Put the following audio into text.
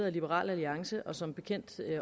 af liberal alliance og som bekendt